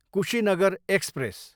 Kushinagar express